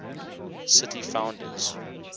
city founders